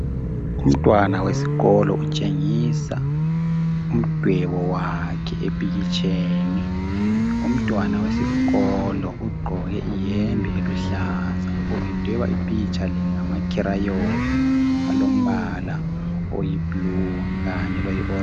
Umntwana weskolo utshengisa umdwebo bakhe ephikhitsheni. Umntwana wesikolo ugqoke ihembe eluhlaza. Ubedweba umphitsha le lamakhilayoni alombala oyi "blue" kanye loyi "orange ".